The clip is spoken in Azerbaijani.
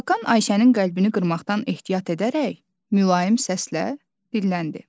Hakan Ayşənin qəlbini qırmaqdan ehtiyat edərək mülayim səslə dilləndi.